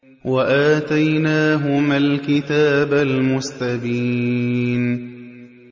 وَآتَيْنَاهُمَا الْكِتَابَ الْمُسْتَبِينَ